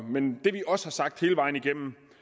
men det vi også har sagt hele vejen igennem